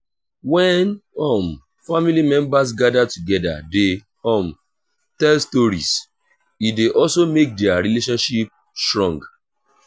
when um family members gather together de um tell stories e de also make their relationship strong